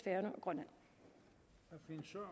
grønland